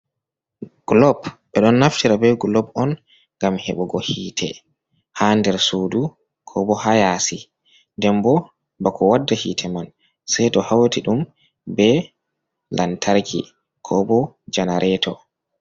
Glob ɓe ɗon naftira be glob on ngam heɓugo hite ha nder sudu ko bo hayasi, ndenbo bako wadda hite man sei to hauti ɗum be lantarki ko bo janareto.